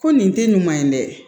Ko nin te nin man ɲi dɛ